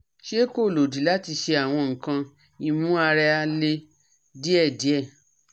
se ko lodi lati she awon nkan imu ara le diedie